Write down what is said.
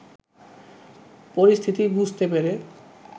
পরিস্থিতি বুঝতে পেরে